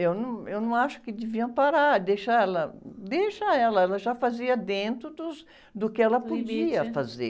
eu não, eu não acho que deviam parar, deixar ela, deixa ela, ela já fazia dentro dos, do que ela podia fazer.